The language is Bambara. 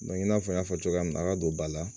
i n'a fɔ n y'a fɔ cogoya min na a ka don ba la